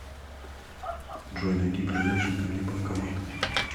джой найди ближайший ко мне банкомат